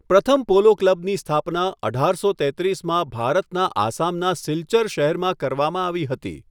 પ્રથમ પોલો ક્લબની સ્થાપના અઢારસો તેત્રીસમાં ભારતના આસામના સિલ્ચર શહેરમાં કરવામાં આવી હતી.